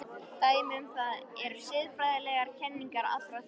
Dæmi um það eru siðfræðilegar kenningar allra þriggja.